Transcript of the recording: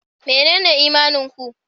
Menene imanin ku?